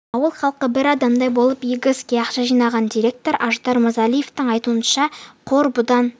ауыл халқы бір адамдай болып игі іске ақша жинаған директор аждар мырзалиевтің айтуынша қор бұдан